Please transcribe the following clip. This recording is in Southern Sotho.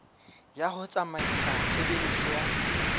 ya ho tsamaisa tshebeletso ya